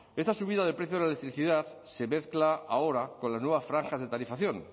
esta subida del precio de la electricidad se mezcla ahora con las nuevas franjas de tarifación